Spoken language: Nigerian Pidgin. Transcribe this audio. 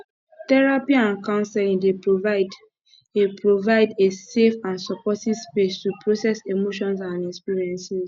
therapy and counseling dey provide a provide a safe and supportive space to process emotions and experiences